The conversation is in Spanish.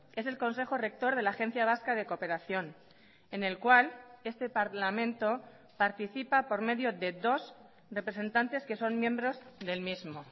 es el consejo rector de la agencia vasca de cooperación en el cual este parlamento participa por medio de dos representantes que son miembros del mismo